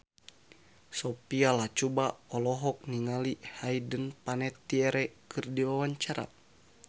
Sophia Latjuba olohok ningali Hayden Panettiere keur diwawancara